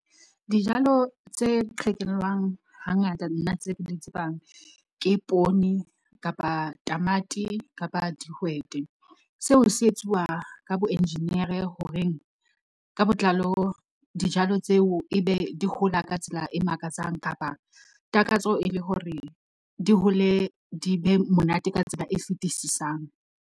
Dijalo tse qhekellwang hangata nna tse ke di tsebang ke poone, kapa tamati, kapa dihwete. Seo se etsuwa ka bo engineer-e horeng ka botlalo dijalo tseo e be di hola ka tsela e makatsang kapa takatso e le hore di hole, di be monate ka tsela e fetisisang.